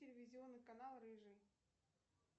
телевизионный канал рыжий